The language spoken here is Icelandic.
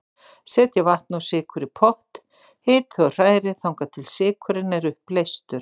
Setjið vatn og sykur í pott, hitið og hrærið þangað til sykurinn er uppleystur.